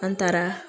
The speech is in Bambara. An taara